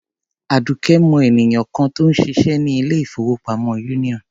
Àdùkẹ́ mọ ènìyàn kan tó ń ṣiṣẹ́ ní ilé-ìfowópamọ́ Union.